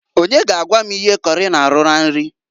Onye ga agwa m ihe kọrị na-arụ na nri?